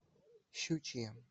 щучье